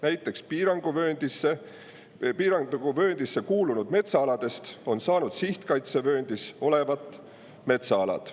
Näiteks piiranguvööndisse kuulunud metsaaladest on saanud sihtkaitsevööndis olevad metsaalad.